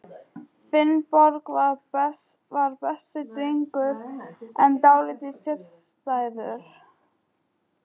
Finnbogi var besti drengur, en dálítið sérstæður.